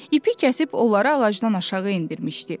İpi kəsib onları ağacdan aşağı endirmişdi.